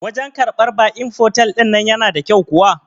Wajan karɓan ba'in fotel ɗin nan yana da kyau kuwa?